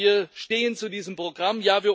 Ja, wir stehen zu diesem Programm.